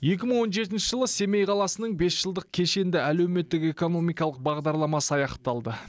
екі мың он жетінші жылы семей қаласының бес жылдық кешенді әлеуметтік экономикалық бағдарламасы аяқталды